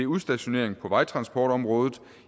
udstationering på vejtransportområdet